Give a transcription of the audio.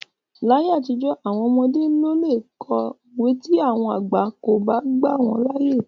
Láyé àtijọ́ àwọn ọmọdé kò le lo òwe tí àwọn àgbà kò bá gbà wọ́n láyè.